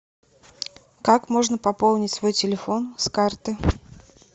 как можно пополнить свой телефон с карты